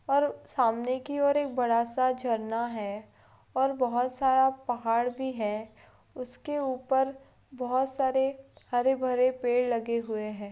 और सामने की ओर एक बड़ा सा झरना है और बहोत सारा पहाड़ भी है उसके ऊपर बहोत सारे हरे-भरे पेड़ लगे हुए हैं।